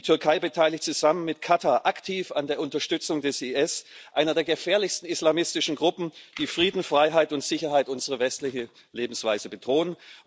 Die Türkei beteiligt sich zusammen mit Katar aktiv an der Unterstützung des IS, einer der gefährlichsten islamistischen Gruppen, die Frieden, Freiheit und Sicherheit unsere westliche Lebensweise bedrohen.